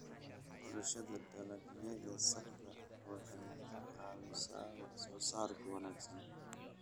Xulashada dalagyada saxda ah waxay ka caawisaa wax soo saarka wanaagsan.